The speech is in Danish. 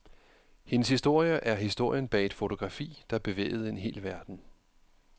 Hendes historie er historien bag et fotografi, der bevægede en hel verden.